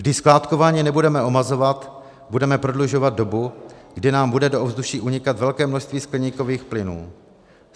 Když skládkování nebudeme omezovat, budeme prodlužovat dobu, kdy nám bude do ovzduší unikat velké množství skleníkových plynů.